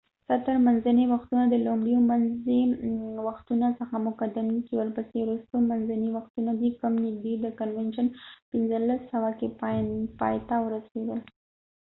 ستر منځني وختونه د لومړیو منځي وختونو څخه مقدم دي چې ورپسې وروستي منځني وختونه دي کوم نږدې د کنوینشن 1500 کې پایته ورسیدل